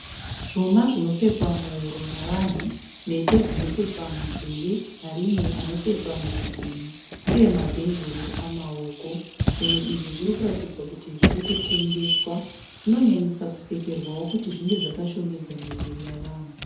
Zvuma zvinopfekwa muhuro navanhu. Mhete dzinopfekwa munzeve. Maringi anopfekwa muzvigunwe uye mabhengoro amaoko. Zvinhu izvi zviri kuratidza kuti zviri kutengeswa. Zvinoyanyanyisa kupfekerwawo kuti zvinge zvakashongedza miviri yevanhu.